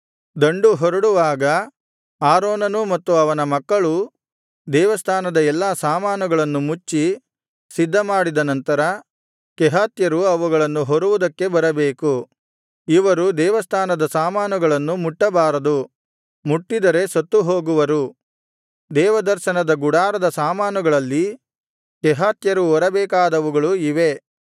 ದಂಡು ಹೊರಡುವಾಗ ಆರೋನನೂ ಮತ್ತು ಅವನ ಮಕ್ಕಳೂ ದೇವಸ್ಥಾನದ ಎಲ್ಲಾ ಸಾಮಾನುಗಳನ್ನು ಮುಚ್ಚಿ ಸಿದ್ಧಮಾಡಿದ ನಂತರ ಕೆಹಾತ್ಯರು ಅವುಗಳನ್ನು ಹೊರುವುದಕ್ಕೆ ಬರಬೇಕು ಇವರು ದೇವಸ್ಥಾನದ ಸಾಮಾನುಗಳನ್ನು ಮುಟ್ಟಬಾರದು ಮುಟ್ಟಿದರೆ ಸತ್ತು ಹೋಗುವರು ದೇವದರ್ಶನದ ಗುಡಾರದ ಸಾಮಾನುಗಳಲ್ಲಿ ಕೆಹಾತ್ಯರು ಹೊರಬೇಕಾದವುಗಳು ಇವೇ